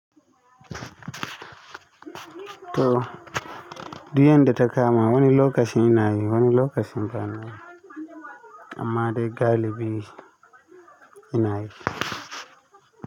To, duk yanda ta kama wani lokacin ina yi, wani lokacin ba na yi. Amma dai galibi ina yi.